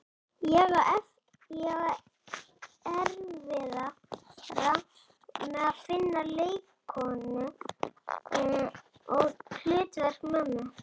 Ég á erfiðara með að finna leikkonu í hlutverk mömmu.